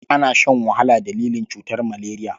Ana shan wahala dalilin cutar maleriya.